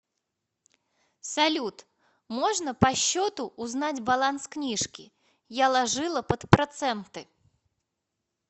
салют можно по щету узнать баланс книжки я ложила под проценты